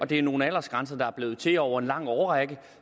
det er nogle aldersgrænser der er blevet til over en lang årrække